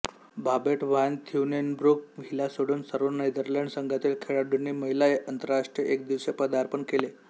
Babette van Thienenbroek हिला सोडून सर्व नेदरलँड्स संघातील खेळाडूंनी महिला आंतरराष्ट्रीय एकदिवसीय पदार्पण केले